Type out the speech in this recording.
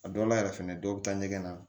A dɔw la yɛrɛ fɛnɛ dɔw bɛ taa ɲɛgɛn na